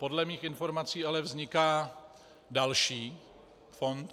Podle mých informací ale vzniká další fond.